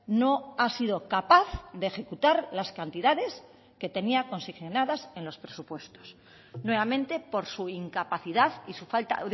no ha sido capaz de ejecutar las cantidades que tenía consignadas en los presupuestos nuevamente por su incapacidad y su falta